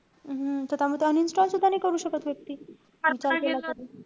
हम्म त त्यामुळे ते uninstall सुद्धा नाई करू शकत व्यक्ती.